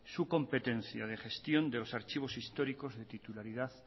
su competencia de gestión de los archivos históricos de titularidad